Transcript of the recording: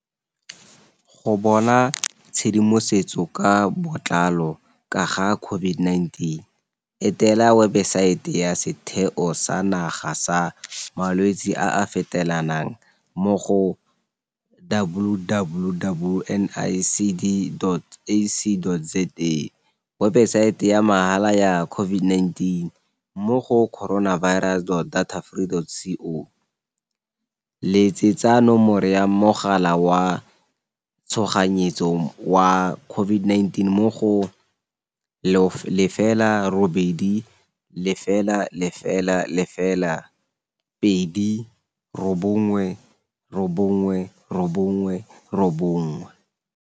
Go bona tshedimotsetso ka botlalo ka ga COVID-19, etela webesaete ya Setheo sa Naga sa Malwetse a a Fetelanang mo go www.nicd.ac.za, webesaete ya mahala ya COVID-19 mo go coronavirus.datafree.co, letsetsa Nomoro ya Mogala wa Tshoganyetso wa COVID-19 mo go 0800 029 999.